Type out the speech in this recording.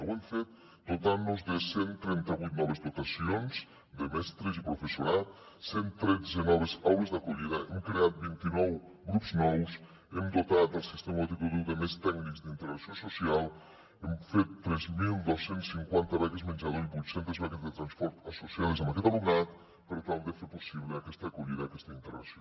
ho hem fet dotant nos de cent i trenta vuit noves dotacions de mestres i professorat cent tretze noves aules d’acollida hem creat vint i nou grups nous hem dotat el sistema educatiu de més tècnics d’integració social hem fet tres mil dos cents i cinquanta beques menjador i vuit centes beques de transport associades amb aquest alumnat per tal de fer possible aquesta acollida aquesta integració